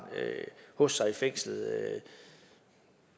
hos sig i fængslet